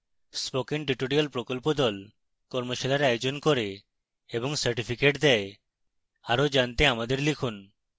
spoken tutorial প্রকল্প the কর্মশালার আয়োজন করে এবং certificates দেয় আরো জানতে আমাদের লিখুন